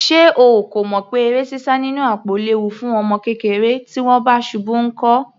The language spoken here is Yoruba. Ṣé o kò mọ̀ pé sísá eré nínú àpò léwu fún ọmọ kékeré? Tí wọ́n bá ṣubú nkọ́?